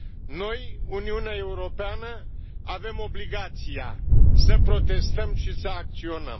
Noi, Uniunea Europeană, avem obligația să protestăm și să acționăm.